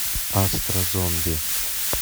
астразомби